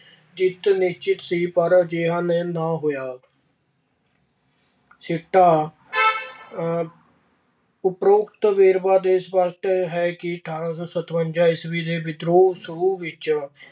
ਜਿੱਤ ਨਿਸ਼ਚਿਤ ਸੀ, ਪਰ ਅਜਿਹਾ ਨਹੀਂ ਸਿੱਟਾ ਅਹ ਉਪਰੋਕਤ ਵੇਰਵਿਆਂ ਤੋ ਸਪੱਸ਼ਟ ਹੈ ਕਿ ਅਠਾਰਾਂ ਸੌ ਸਤਵੰਜਾ ਈਸਵੀ ਦੇ ਵਿਦਰੋਹ ਸ਼ੁਰੂ ਵਿੱਚ